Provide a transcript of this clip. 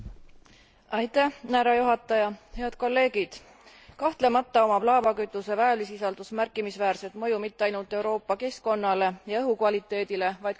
Head kolleegid, kahtlemata omab laevakütuse väävlisisaldus märkimisväärset mõju mitte ainult Euroopa keskkonnale ja õhu kvaliteedile, vaid ka transpordisektorile.